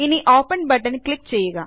ഇനി ഓപ്പൻ ബട്ടണിൽ ക്ലിക്ക് ചെയ്യുക